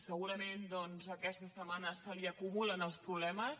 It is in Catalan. segurament aquesta setmana se li acumulen els problemes